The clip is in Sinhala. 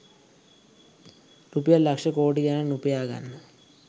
රුපියල් ලක්ෂ කෝටි ගණන් උපයා ගන්න